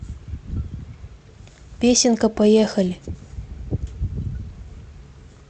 песенка поехали